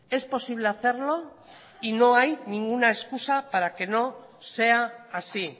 es posible hacerlo y no hay ninguna excusa para que no sea así